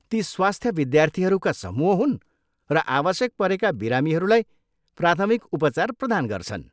ती स्वस्थ्य विद्यार्थीहरूका समूह हुन् र आवश्यक परेका बिरामीहरूलाई प्राथमिक उपचार प्रदान गर्छन्।